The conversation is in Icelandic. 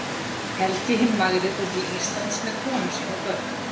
helgi hinn magri fór til íslands með konu sína og börn